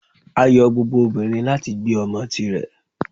Ayo gbógbó obinrín ni latí gbé omò tí rè